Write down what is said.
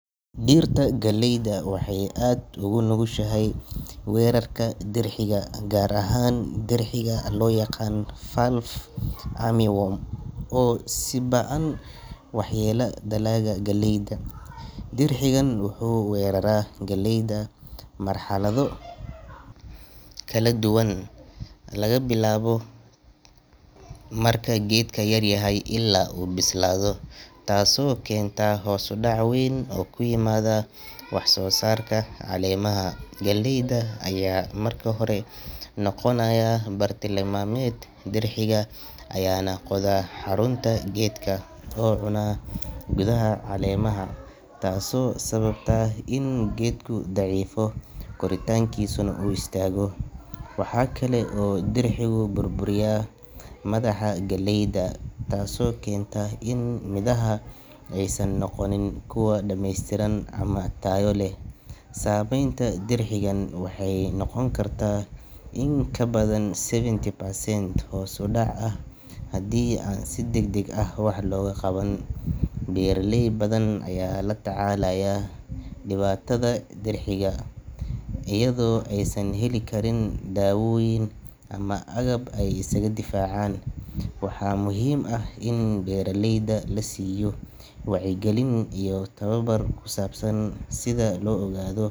Dhirta galeyda waxay aad ugu nugushahay weerarka dirxiga, gaar ahaan dirxiga loo yaqaan fall armyworm oo si ba’an u waxyeelleeya dalagga galeyda. Dirxigani wuxuu weeraraa galeyda marxalado kala duwan, laga bilaabo marka geedka yaryahay ilaa uu bislaado, taasoo keenta hoos u dhac weyn oo ku yimaada wax-soo-saarka. Caleemaha galeyda ayaa marka hore noqonaya bartilmaameed, dirxiga ayaana qoda xarunta geedka oo cuna gudaha caleemaha, taasoo sababta in geedku daciifo, koritaankiisana uu istaago. Waxaa kale oo dirxigu burburiyaa madaxa galeyda, taasoo keenta in midhaha aysan noqonin kuwo dhammeystiran ama tayo leh. Saamaynta dirxigan waxay noqon kartaa in ka badan seventy percent hoos u dhac ah haddii aan si degdeg ah wax looga qaban. Beeraley badan ayaa la tacaalaya dhibaatada dirxiga iyadoo aysan heli karin daawooyin ama agab ay isaga difaacaan. Waxaa muhiim ah in beeraleyda la siiyo wacyigelin iyo tababar ku saabsan sida loo ogaado.